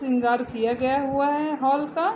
श्रृंगार किया गया हुआ है हॉल का।